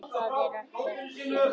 Það er ekkert sem heitir!